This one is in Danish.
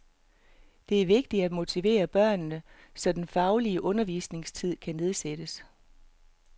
Det er vigtigt at motivere børnene, så den faglige undervisningstid kan nedsættes.